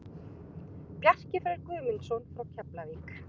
Bjarki Freyr Guðmundsson frá Keflavík